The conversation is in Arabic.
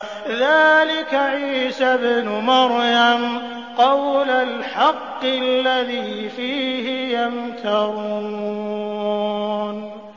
ذَٰلِكَ عِيسَى ابْنُ مَرْيَمَ ۚ قَوْلَ الْحَقِّ الَّذِي فِيهِ يَمْتَرُونَ